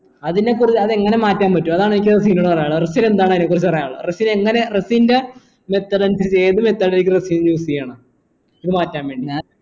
അതിനെ അതെങ്ങനെ മാറ്റാൻ പറ്റും അതാണ് എനിക്ക് റസിനോട് പറയാനുള്ളത് റസിന് എന്താണ് അയിനെ കുറിച്ച് പറയാനുള്ളത് റസിന് എങ്ങനെയ റസിന്റെ അനുസരിച്ച് ഏത് ആയിരിക്കും റസിന് choose ചെയ്യണേ ഇത് മാറ്റാൻ വേണ്ടി